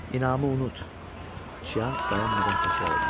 İnamı unut, Çianq dayanmadan təkrar eləyirdi.